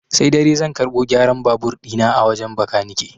Sai dare zan karɓo gyaran babur ɗi na a wajen bakanike.